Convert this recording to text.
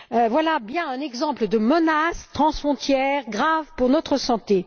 Voilà bien un exemple de menace transfrontière grave pour notre santé.